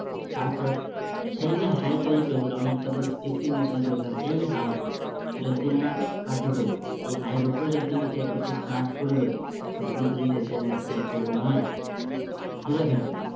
তারপরে সেই যে high তৈরি করেছিল আমি আপনাদের mention করেছিলাম এই high যতদিন না কাটবে এই high এর উপরে যতদিন না trade করতে start করবে ততদিন পর্যন্ত এ কোন trade নয়। দূরে থাকুন